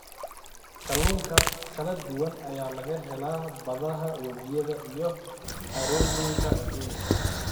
Kalluun kala duwan ayaa laga helaa badaha, webiyada iyo harooyinka adduunka.